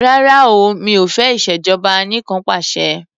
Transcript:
Rárá o mi ò fẹ́ ìṣèjọba anìkanpàṣẹ.